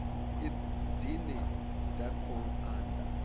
id dzine dza khou anda